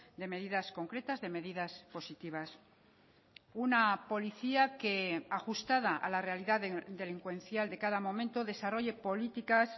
de medidas concretas de medidas positivas una policía que ajustada a la realidad delincuencial de cada momento desarrolle políticas